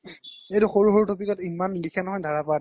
সৰু সৰু topic ত ইমান লিখে নহয় ধাৰা পাত